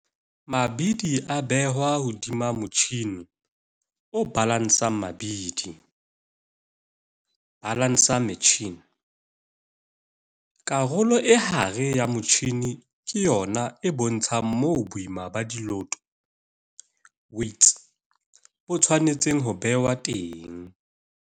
Mabidi a behwa hodima motjhine o balansang mabidi, balancer machine, karolo e hare ya motjhine ke yona e bontshang moo boima ba diloto, weights, bo tshwanetseng ho behwa teng.